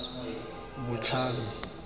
botlhami